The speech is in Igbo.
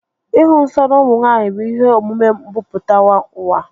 Ịhụ nsọ n'ụmụ nwaanyị bụ ihe omume mbumputauwa